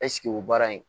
Ɛseke o baara in